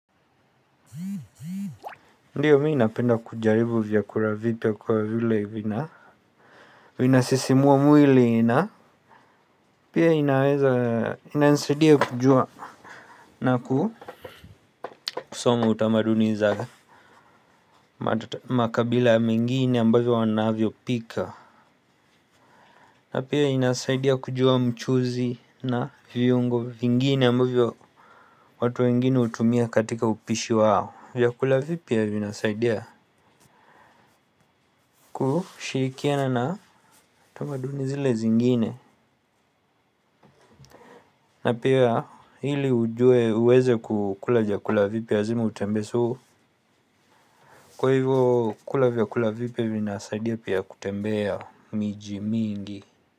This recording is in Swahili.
Ndiyo mimi napenda kujaribu vyakula vipya kwa vile vina vinasisimua mwili na pia inaweza ina nisaidia kujua. Na kusoma utamaduni za makabila mengine ambavyo wanavyo pika. Na pia inasaidia kujua mchuzi na viungo vingine ambavyo watu wengine hutumia katika upishi wao. Vyakula vipya vinasaidia kushirikiana na utamaduni zile zingine. Na pia ili ujue uweze kukula vyakula vipya lazimu utembee so. Kwa hivyo kula vyakula vipya vina saidia pia kutembea miji mingi.